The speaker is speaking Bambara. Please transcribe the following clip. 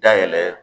Dayɛlɛ